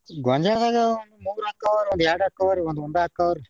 ಗೊಂಜ್ಯಾಳದಾಗ ಒಂದ್ ಮೂರ ಆಕ್ಕವ್ರು, ಒಂದ್ ಎರಡ್ ಆಕ್ಕವ್ರು ಒಂದ್ ಒಂದ ಆಕ್ಕವ್ರೀ.